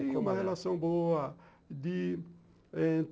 Tinha uma relação boa de